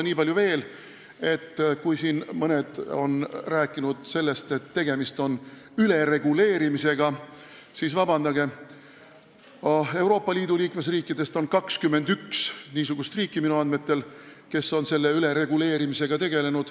Nii palju veel, et kui siin mõned räägivad sellest, et tegemist on ülereguleerimisega, siis palun vabandust, aga Euroopa Liidus on minu andmetel 21 niisugust riiki, kes on sellise ülereguleerimisega tegelenud.